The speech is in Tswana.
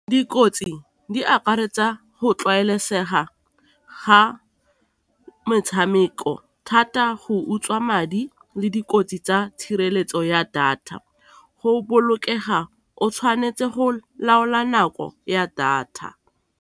Dikotsi di akaretsa go tlwaelesega ga metshameko, thata go utswa madi le dikotsi tsa tshireletso ya data, go bolokega o tshwanetse go laola nako ya data.